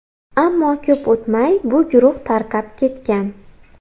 Ammo ko‘p o‘tmay bu guruh tarqab ketgan.